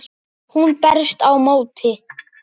Hún berst á móti.